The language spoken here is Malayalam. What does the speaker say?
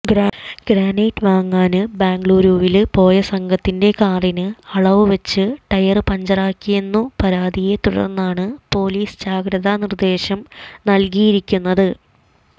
ഗ്രാനൈറ്റ് വാങ്ങാന് ബെംഗളൂരുവില് പോയ സംഘത്തിന്റെ കാറിന് അള്ളുവച്ച് ടയര് പഞ്ചറാക്കിയെന്നു പരാതിയെ തുടര്ന്നാണ് പൊലീസ് ജാഗ്രതാ നിര്ദേശം നല്കിയിരിക്കുന്നത്